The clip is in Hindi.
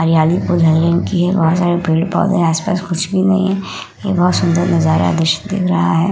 हरियाली बहोत सारे पेड़-पौधे आस-पास कुछ भी नहीं है बहोत सुन्दर नजारा दृश्य दिख रहा है।